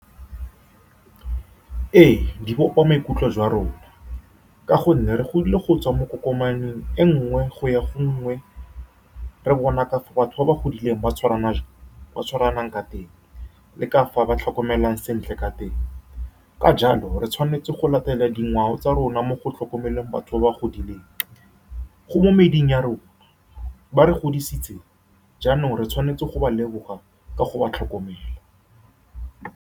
Ee, di bopa maikutlo jwa rona ka gonne re godile go tswa mo dikokomaneng e nngwe go ya go e nngwe, re bona ka fa batho ba ba godileng ba tshwarana , ba tshwarang ka teng le ka fa ba tlhokomelang sentle ka teng. Ka jalo, re tshwanetse go latela dingwao tsa rona mo go tlhokomeleng batho ba ba godileng, go mo mading a rona. Ba re godisitse, jaanong re tshwanetse go ba leboga ka go ba tlhokomela.